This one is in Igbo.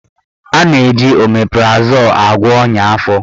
A na-eji omeprazol agwọ ọnya afọ.